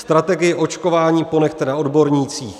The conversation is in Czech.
Strategii očkování ponechte na odbornících.